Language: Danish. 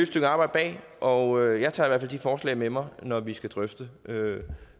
stykke arbejde bag og jeg tager i de forslag med mig når vi skal drøfte